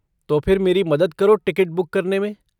तो फिर मेरी मदद करो टिकट बुक करने में।